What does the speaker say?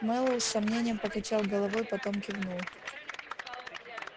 мэллоу с сомнением покачал головой потом кивнул